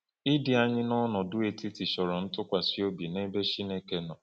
Ịdị anyị n’ọnọdụ etiti chọrọ ntụkwasị obi n’ebe Chineke nọ.